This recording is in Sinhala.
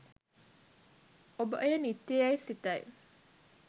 ඔබ එය නිත්‍ය යැයි සිතයි.